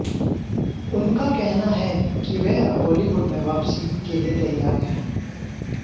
उनका कहना है कि वह अब बॉलीवुड में वापसी के लिए तैयार हैं